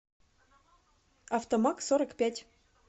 автомагсорокпять